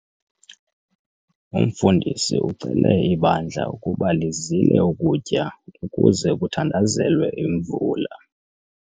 Umfundisi ucele ibandla ukuba lizile ukutya ukuze kuthandazelwe imvula.